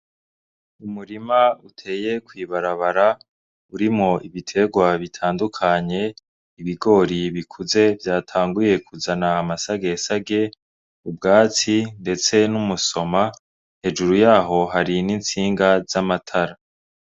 Umurima uteye kw'ibarabara urimwo ibiterwa bitandukanye ibigori bikuze vyatanguye kuzana amasage sage ubwatsi ndetse n'umusoma hejuru yaho hari n'insinga z'amatara.